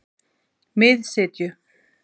Miðsitju